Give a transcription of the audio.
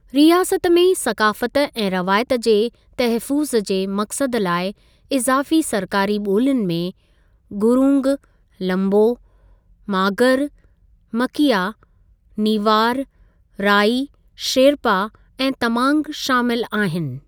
रियासत में सक़ाफ़त ऐं रवायत जे तहफ़्फ़ुज़ जे मक़सदु लाइ इज़ाफ़ी सरकारी ॿोलियुनि में गुरूंग, लंबो, मागर, मकिया, नीवार, राइ, शेरपा ऐं तमांग शामिलु आहिनि।